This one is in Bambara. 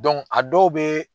a dɔw be